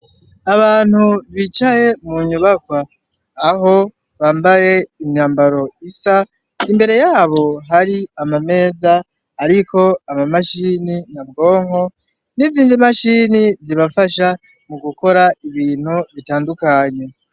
Abantu bicaye mu nyubakwa aho bambaye imyambaro isa imbere yabo hari amameza, ariko ama mashini nyabwonko n'izindi mashini zibafasha mu gukora ibintu bitandukanye.